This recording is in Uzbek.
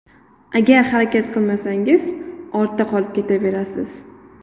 Agar harakat qilmasangiz, ortda qolib ketaverasiz.